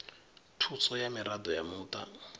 thuso ya miraḓo ya muṱa